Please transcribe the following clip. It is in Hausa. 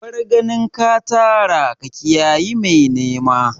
Bar ganin ka tara ka kiyayi mai nema!